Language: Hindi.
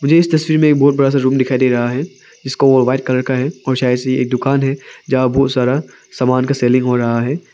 इस तस्वीर में एक बहुत बड़ा सा रूम दिखाई दे रहा है जिसको वो व्हाइट कलर का है और शायद से ये एक दुकान है जिसमें बहोत सारा सामान का सेलिंग हो रहा है।